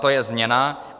To je změna.